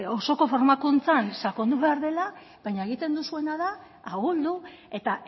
osoko formakuntzan sakondu behar dela baina egiten duzuena da ahuldu eta